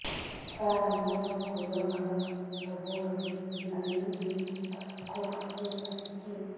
ସାର ମୋର ଫୁଲ ଘର ସବୁ ବେଳେ ଦୁଇ ଇଞ୍ଚ ତଳକୁ ଖସି ଆସିଛି